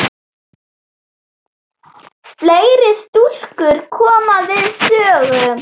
Fleiri stúlkur koma við sögu.